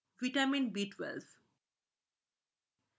vitamin B b12